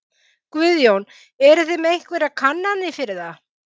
Guðjón: Eruð þið með einhverjar kannanir fyrir það?